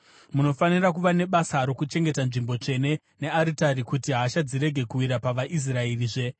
“Munofanira kuva nebasa rokuchengeta nzvimbo tsvene nearitari, kuti hasha dzirege kuwira pavaIsraerizve.